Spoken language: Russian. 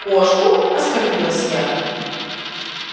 кошку оскорбилась я